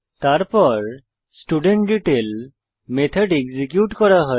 তারপর student detail method execute করা হয়